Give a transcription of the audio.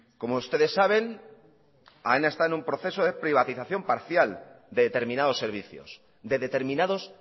como ustedes saben aena está en un proceso de privatización parcial de determinados servicios de determinados